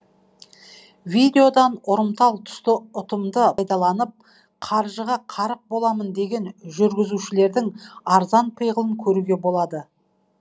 видеодан ұрымтал тұсты ұтымды пайдаланып қаржыға қарық боламын деген жүргізушілердің арзан пиғылын көруге болады